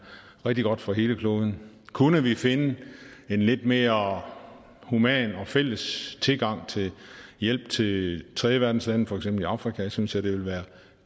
rigtig godt for hele kloden kunne vi finde en lidt mere human og fælles tilgang til hjælp til tredjeverdenslandene for eksempel afrika synes jeg det ville være